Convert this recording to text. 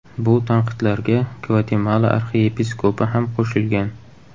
Bu tanqidlarga Gvatemala arxiyepiskopi ham qo‘shilgan.